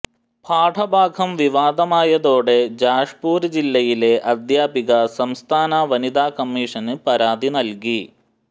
പാഠഭാഗം വിവാദമായതോടെ ജാഷ്പുര് ജില്ലയിലെ അധ്യാപിക സംസ്ഥാന വനിതാ കമീഷന് പരാതി നല്കി